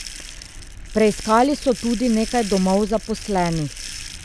Preiskali so tudi nekaj domov zaposlenih.